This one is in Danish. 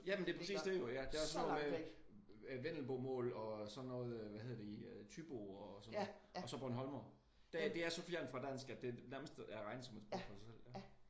Jamen det er præcis det jo ik ja. Det er også noget med vendelbomål og sådan noget hvad hedder det i thybo og sådan noget. Og så Bornholmere. Det er så fjernt fra dansk at det nærmest er regnet for et sprog for sig selv